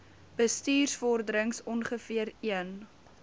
bestuursvorderings ongeveer een